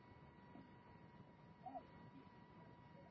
Berin eru eitruð, valda magaverkjum og geta eyðilagt rauð blóðkorn.